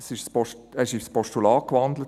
Er wurde in ein Postulat gewandelt.